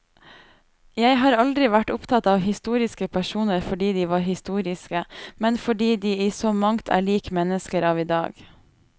Jeg har aldri vært opptatt av historiske personer fordi de var historiske, men fordi de i så mangt er lik mennesker av i dag.